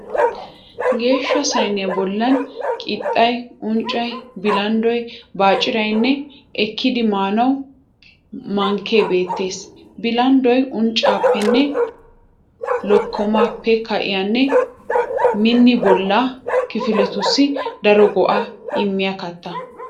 Geeshsha sayiniya bollan qixxay, unccay, bilanddoy baacciraynne ekkidi maanawu mankke beettes. Bilanddoy unccappenne lokkomaappe ka'iyaanne min bollaa kifiletussi daro go'aa inmiyaa katta.